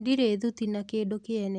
Ndirĩ thuti na kĩndũ kiene.